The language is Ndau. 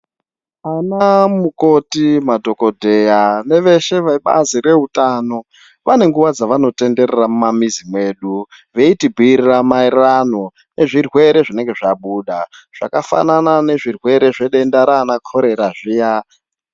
Ana mukoti madhokoteya neveshe vebazi reutano vane nguwa dzavanotenderera mumamizi mwedu veitibhuirira maererano nezvirwere zvinenge zvabuda zvakafanana nezvirwere zvedenda rana korera riya.